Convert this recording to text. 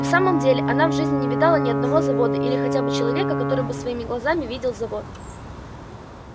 и в самом деле она в жизни не видала ни одного завода или хотя бы человека который бы своими глазами видел завод